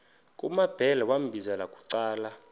kumambhele wambizela bucala